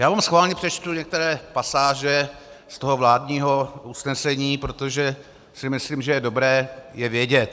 Já vám schválně přečtu některé pasáže z toho vládního usnesení, protože si myslím, že je dobré je vědět.